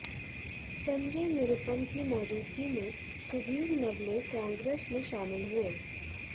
संजय निरुपम की मौजूदगी में सुधीर नवले कांग्रेस में शामिल हुए